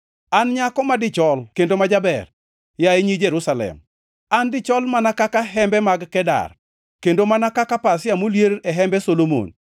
An nyako ma dichol kendo ma jaber, yaye nyi Jerusalem, an dichol mana ka hembe mag Kedar, kendo mana ka pasia molier e hembe Solomon.